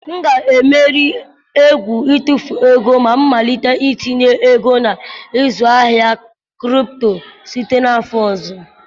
M ga-emeri egwu itụfu ego ma malite itinye ego na ịzụ ahịa kripto site n'afọ ọzọ.